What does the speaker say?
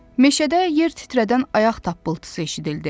Meşədə yer titrədən ayaq tappıltısı eşidildi.